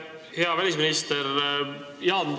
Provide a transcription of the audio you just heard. Hea välisminister!